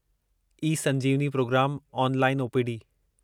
ई संजीवनी प्रोग्रामु online OPD